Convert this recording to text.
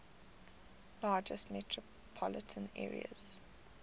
largest metropolitan areas